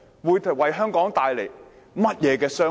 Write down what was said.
會為香港帶來甚麼傷害？